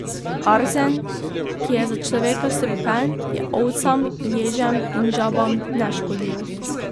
Arzen, ki je za človeka strupen, je ovcam, ježem in žabam neškodljiv.